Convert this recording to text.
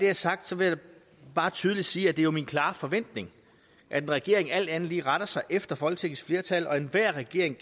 er sagt vil jeg bare tydeligt sige at det er min klare forventning at en regering alt andet lige retter sig efter folketingets flertal og enhver regering